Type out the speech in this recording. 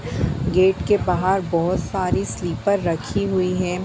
Gate के बाहर बहोत सारी स्लीपर रखी हुई है।